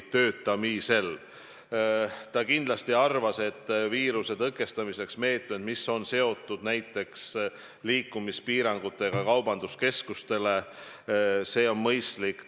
Ta arvas, et kindlasti viiruse tõkestamise meetmed, mis on seotud näiteks liikumispiirangutega kaubanduskeskustes, on mõistlikud.